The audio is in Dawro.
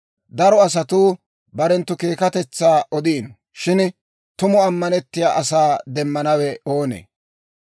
Daro asatuu barenttu keekkatetsaa odiino; shin tumu ammanettiyaa asaa demmanawe oonee?